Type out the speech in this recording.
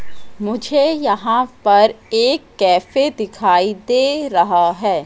मुझे यहां पर एक कैफे दिखाई दे रहा है।